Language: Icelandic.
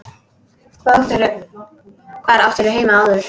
Hvar áttirðu heima áður?